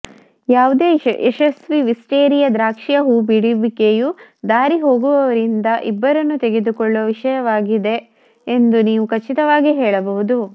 ಯಾವುದೇ ಯಶಸ್ವೀ ವಿಸ್ಟೇರಿಯಾ ದ್ರಾಕ್ಷಿಯ ಹೂಬಿಡುವಿಕೆಯು ದಾರಿಹೋಗುವವರಿಂದ ಇಬ್ಬರನ್ನು ತೆಗೆದುಕೊಳ್ಳುವ ವಿಷಯವಾಗಿದೆ ಎಂದು ನೀವು ಖಚಿತವಾಗಿ ಹೇಳಬಹುದು